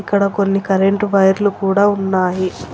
అక్కడ కొన్ని కరెంటు వైర్లు కూడా ఉన్నాయి.